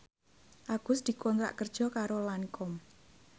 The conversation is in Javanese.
Agus dikontrak kerja karo Lancome